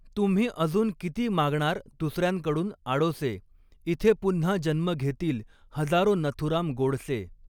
तुम्ही अजून किती मागणार दुसऱ्यांकडून आडोसे, ईथे पून्हा जन्म घेतील हजारो नथुराम गोडसे.